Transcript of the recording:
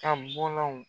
Ka bɔlɔnw